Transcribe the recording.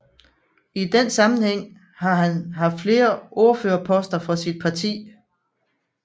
I den sammenhæng har han haft flere ordførerposter for sit parti